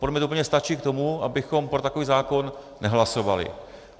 Podle mne to úplně stačí k tomu, abychom pro takový zákon nehlasovali.